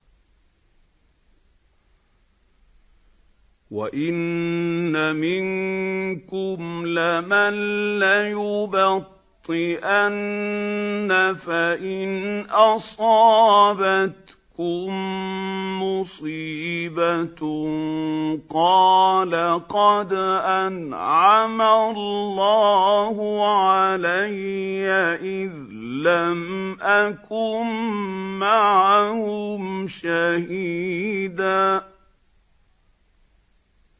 وَإِنَّ مِنكُمْ لَمَن لَّيُبَطِّئَنَّ فَإِنْ أَصَابَتْكُم مُّصِيبَةٌ قَالَ قَدْ أَنْعَمَ اللَّهُ عَلَيَّ إِذْ لَمْ أَكُن مَّعَهُمْ شَهِيدًا